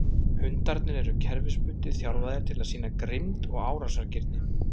Hundarnir eru kerfisbundið þjálfaðir til að sýna grimmd og árásargirni.